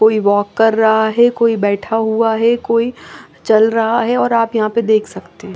कोई वॉक कर रहा है कोई बैठा हुआ है कोई चल रहा है और आप यहां पे देख सकते हैं।